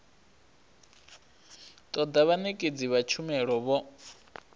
toda vhanekedzi vha tshumelo vho